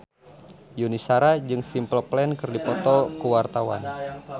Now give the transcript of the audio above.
Yuni Shara jeung Simple Plan keur dipoto ku wartawan